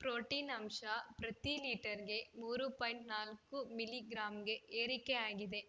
protein ಅಂಶ ಪ್ರತಿ ಲೀಟರ್‌ಗೆ ಮೂರು ಪಾಯಿಂಟ್ ನಾಲ್ಕು ಮಿಲಿ ಗ್ರಾಂಗೆ ಏರಿಕೆಯಾಗಿದೆ